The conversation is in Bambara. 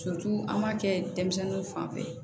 an b'a kɛ denmisɛnninw fanfɛ